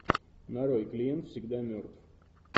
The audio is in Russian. нарой клиент всегда мертв